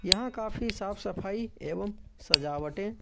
यहां काफी साफ सफाई एवं सजावटे--